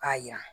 K'a jira